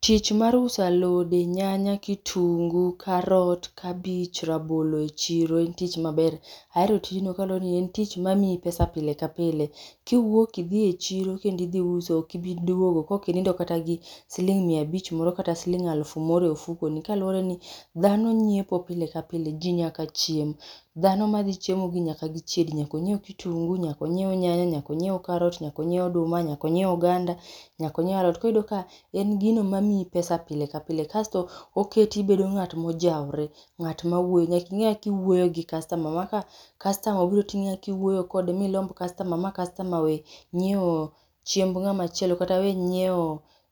Tich mar uso alode, nyaka kitunguu, karot, kabich, rabolo e chiro en tich maber. Ahero tijno kaluwore ni en tich mamiyi pesa pile ka pile. Kiwuok idhi e chiro kendo idhi uso ,ok ibi duogo kokinindo kata siling' miya abich moro kata siling' aluf moro re ofukoni. Kaluwore ni dhano nyiepo pile ka pile. Ji nyaka chiem. Dhano madhi chiemo gi nyaka gichiedi. Nyaka onyiew kitunguu, nyaka onyiew nyanya, nyaka onyiew karot, nyaka onyiew oduma, nyaka onyiew oganda. Nyaka onyiew alot, koro iyudo ka en gino mamiyi pesa pile ka pile. Kasto oketi ibedo ng'at mojawore, ng'at mawuoyo, nyaking'e kiwuoyo gi customer ma, ka customer ibiro ting'e kaka iwuoyo kode, milomb customer ma customer owe nyiewo chiemb ng'ama chielo kata we nyiewo